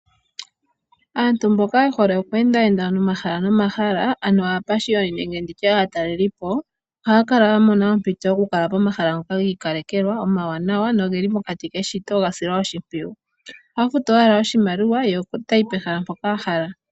Aantu mboka ye hole okweenda ye nda momahala nomahala ano aapashiyoni nenge nditye aatalelipo, ohaa kala ya mona ompito yo kukala pomahala ngoka giikalekelwa omawanawa nogeli pokati keshito ga silwa oshimpwiyu. Ohaa futu owala oshimaliwa yo otayi pehala mpoka ahala.